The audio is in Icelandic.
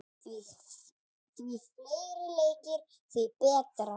Því fleiri leikir, því betra.